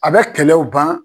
A bɛ kɛlɛw ban.